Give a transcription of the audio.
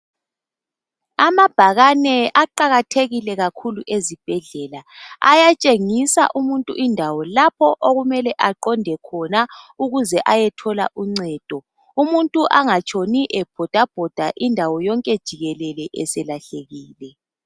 Amabhakane aqakathekile kakhulu ezibhedlela ayatshengisa umuntu indawo lapho okumele aqonde khona ukuze ayethola uncedo umuntu angatshoni ebhoda indawo yonke jikelele eselahlekile.